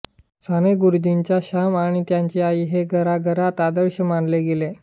सानेगुरुजींचा श्याम आणि त्याची आई हे घराघरांत आदर्श मानले गेले